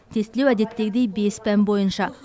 тестілеу әдеттегідей бес пән бойынша